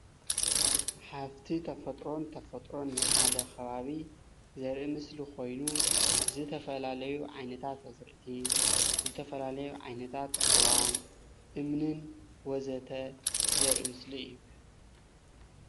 ሃፍቲ ተፈጥሮን ተፈጥሮን ናይ ሓደ ከባቢ ዘርኢ ምስሊ ኮይኑ ዝተፈላለዩ ዓይነታት ኣዝርእቲ ዝተፈላለዩ ዓይነታት ኣእዋም እምንን ወዘተ ዘርኢ ምስሊ እዩ